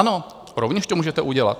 Ano, rovněž to můžete udělat.